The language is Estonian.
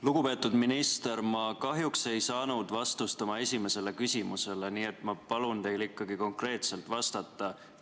Lugupeetud minister, ma kahjuks ei saanud vastust oma esimesele küsimusele, nii et ma palun teil ikkagi konkreetselt vastata.